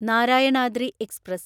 Narayanadri express